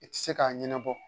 I tɛ se k'a ɲɛnabɔ